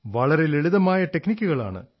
വളരെ ലളിതമായ ടെക്നിക്കുകളാണ്